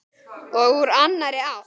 Og úr annarri átt.